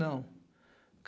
Não.